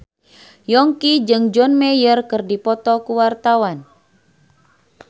Yongki jeung John Mayer keur dipoto ku wartawan